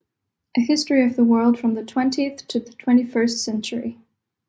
A History of the World from the 20th to the 21st Century